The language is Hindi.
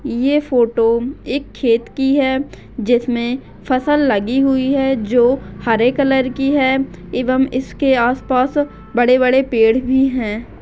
ये फोटो एक खेत की है जिसमे फसल लगी हुई है जो हरे कलर की है एवम इसके आस पास बड़े बड़े पेड़ भी है।